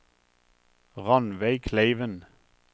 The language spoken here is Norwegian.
Rannveig Kleiven